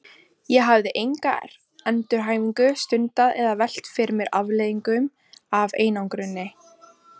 Ég hafði enga endurhæfingu stundað eða velt fyrir mér afleiðingum af einangruninni.